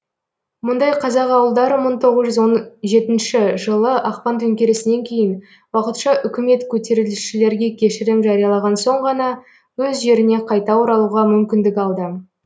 мұндай қазақ ауылдары мың тоғыз жүз он жетінші жылы ақпан төңкерісінен кейін уақытша үкімет көтерілісшілерге кешірім жариялаған соң ғана өз жеріне қайта оралуға мүмкіндік алды